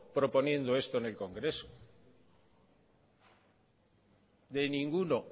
proponiendo esto en el congreso de ninguno